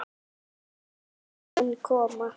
Minn tími mun koma.